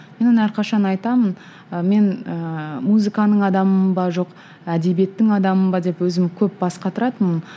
мен оны әрқашан айтамын ы мен ыыы музыканың адамымын ба жоқ әдебиеттің адамымын ба деп өзім көп бас қатыратынмын